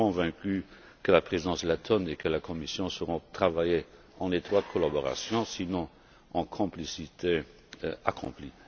Je suis convaincu que la Présidence lettone et la Commission sauront travailler en étroite collaboration sinon en complicité accomplie.